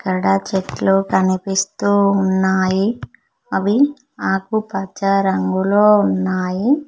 అక్కడ చెట్లు కనిపిస్తు ఉన్నాయి అవి ఆకు పచ్చ రంగులో ఉన్నాయి.